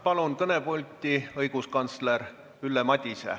Palun kõnepulti õiguskantsler Ülle Madise.